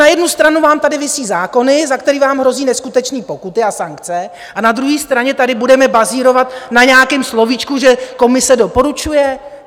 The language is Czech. Na jednu stranu vám tady visí zákony, za které vám hrozí neskutečné pokuty a sankce, a na druhé straně tady budeme bazírovat na nějakém slovíčku, že Komise doporučuje?